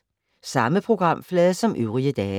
Samme programflade som øvrige dage